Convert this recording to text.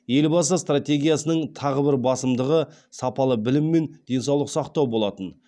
елбасы стратегиясының тағы бір басымдығы сапалы білім мен денсаулық сақтау болатын